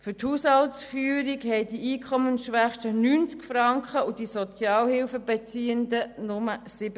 Für die Haushaltsführung haben die Einkommensschwächsten 90 Franken, die Sozialhilfebeziehenden jedoch nur 37 Franken zur Verfügung.